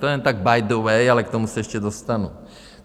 To jen tak by the way, ale k tomu se ještě dostanu.